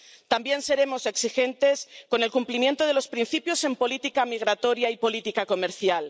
También seremos exigentes con el cumplimiento de los principios en política migratoria y política comercial.